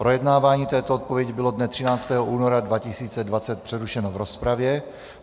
Projednávání této odpovědi bylo dne 13. února 2020 přerušeno v rozpravě.